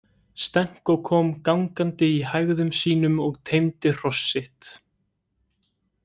Stenko kom gangandi í hægðum sínum og teymdi hross sitt.